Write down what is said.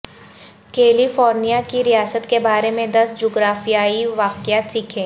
کیلی فورنیا کی ریاست کے بارے میں دس جغرافیای واقعات سیکھیں